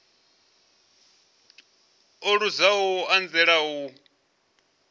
o luzaho u anzela u